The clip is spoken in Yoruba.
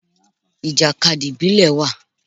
Ìjàkadì ìbílẹ̀ wà.